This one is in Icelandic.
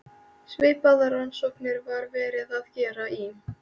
Svipaðar rannsóknir var verið að gera í